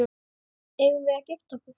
Eigum við að gifta okkur?